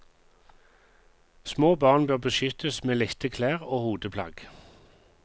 Små barn bør beskyttes med lette klær og hodeplagg.